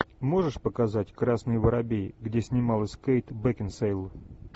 можешь показать красный воробей где снималась кейт бекинсейл